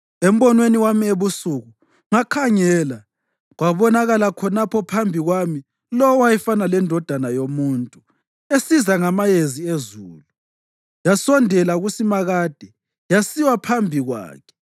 Embonweni wami ebusuku ngakhangela kwabonakala khonapho phambi kwami lowo owayefana lendodana yomuntu esiza ngamayezi ezulu. Yasondela kuSimakade yasiwa phambi kwakhe.